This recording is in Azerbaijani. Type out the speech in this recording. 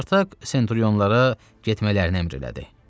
Spartak senturyonlara getmələrini əmr elədi.